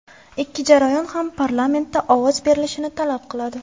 Ikki jarayon ham parlamentda ovoz berilishini talab qiladi.